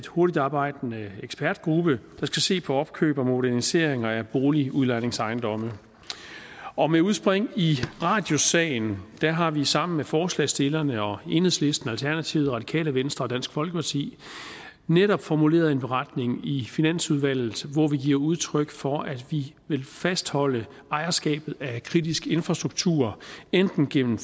hurtigt arbejdende ekspertgruppe der skal se på opkøb og moderniseringer af boligudlejningsejendomme og med udspring i radiussagen har vi sammen med forslagsstillerne og enhedslisten alternativet radikale venstre og dansk folkeparti netop formuleret en beretning i finansudvalget hvor vi giver udtryk for at vi vil fastholde ejerskabet af kritisk infrastruktur enten gennem